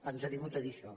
ens ha vingut a dir això